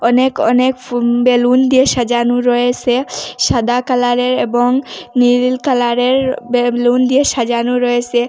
অনেক অনেক ফুন বেলুন দিয়ে সাজানো রয়েসে সাদা কালারের এবং নীল কালারের বেলুন দিয়ে সাজানো রয়েসে।